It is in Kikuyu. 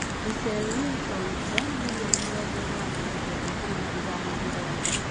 Russell Wilson ndora mirioni mĩrongo ĩnana na kenda turuma ithano mũgwanja